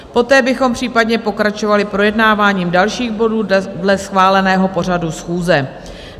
Poté bychom případně pokračovali projednáváním dalších bodů dle schváleného pořadu schůze.